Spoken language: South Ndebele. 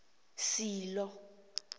silo